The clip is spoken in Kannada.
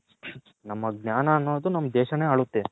ನಮ್ಮ ಜ್ಞಾನ ಅನೂದು ನಮ್ಮ ದೇಶಾನೆ ಆಳುತ್ತೆ